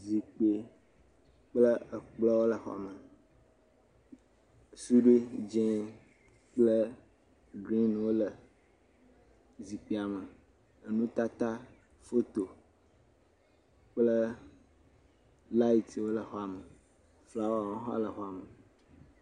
Zikpui kple ekplɔ le xɔa me. Suɖui dzi kple grinwo le zikuia me. Enutata foto kple latiwo le xɔa me kple flawa hã le xɔa me.